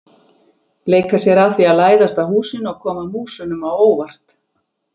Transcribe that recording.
Leika sér að því að læðast að húsinu og koma músunum á óvart.